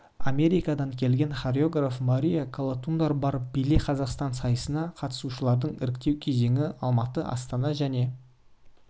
америкадан келген хореограф мария колотундар бар биле қазақстан сайысына қатысушыларды іріктеу кезеңі алматы астана және